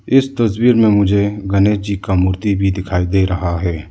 इस तस्वीर में मुझे गणेश जी का मूर्ति भी दिखाई दे रहा है।